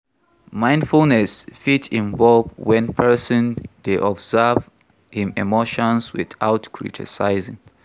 Mindfulness fit involve when person dey observe im emotions without criticizing